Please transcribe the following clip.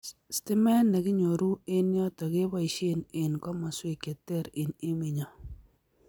Stimet nekinyoru eng yoto keboishee eng komaswek che ter eng emenyo